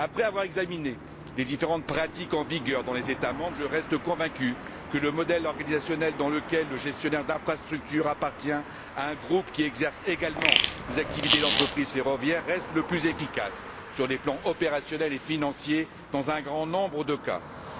Après avoir examiné les différentes pratiques en vigueur dans les États membres, je reste convaincu que le modèle organisationnel dans lequel le gestionnaire d'infrastructures appartient à un groupe qui exerce également des activités d'entreprises ferroviaires reste, dans un grand nombre de cas, le plus efficace sur les plans opérationnel et financier.